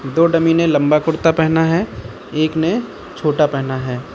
दो डमी ने लंबा कुड़ता पेहना है एक ने छोटा पेहना है।